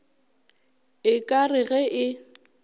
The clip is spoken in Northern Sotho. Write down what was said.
e ka re ge e